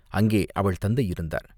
அங்கே அவள் தந்தை இருந்தார்.